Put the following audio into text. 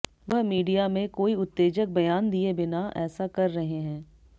वह मीडिया में कोई उत्तेजक बयान दिए बिना ऐसा कर रहे हैं